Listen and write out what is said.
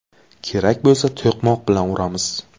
Kerak bo‘lsa to‘qmoq bilan uramiz.